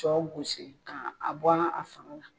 Shɔ gosi a bɔnna a sagola.